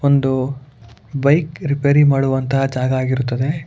ಒಂದು bike repair ಮಾಡುವಂತಹ ಜಾಗ ಆಗಿರುತ್ತದೆ.